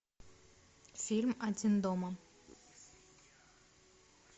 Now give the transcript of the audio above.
фильм один дома